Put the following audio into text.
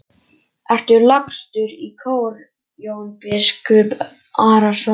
Ertu lagstur í kör Jón biskup Arason?